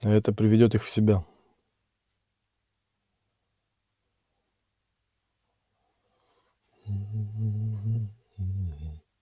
а это приведёт их в себя